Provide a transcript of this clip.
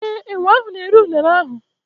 ee, enwe ahụ na-eri Unere ahụ.